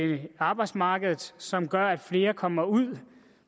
arbejdsmarkedet som gør at flere kommer ud